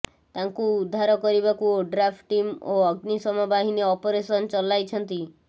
ତାଙ୍କୁ ଉଦ୍ଧାର କରିବାକୁ ଓଡ୍ରାଫ୍ ଟିମ୍ ଓ ଅଗ୍ନିଶମ ବାହିନୀ ଅପରେସନ ଚଲାଇଛନ୍ତି